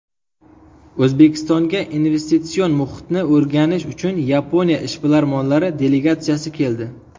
O‘zbekistonga investitsion muhitni o‘rganish uchun Yaponiya ishbilarmonlari delegatsiyasi keldi.